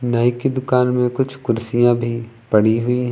नाई की दुकान में कुछ कुर्सियां भी पड़ी हुई हैं।